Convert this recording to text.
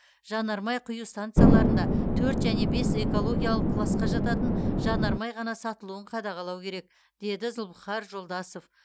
жанармай құю стансаларында төрт және бес экологиялық класқа жататын жанармай ғана сатылуын қадағалау керек деді зұлыпхар жолдасов